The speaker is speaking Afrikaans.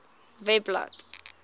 webblad